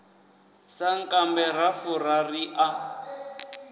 sankambe ra fura ri a